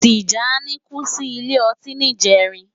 Tijani kú si ilé òtín nijèrín